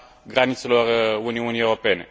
granițelor Uniunii Europene,